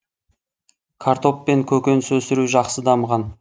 картоп пен көкөніс өсіру жақсы дамыған